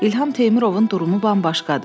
İlham Teymurovun durumu bambaşqadır.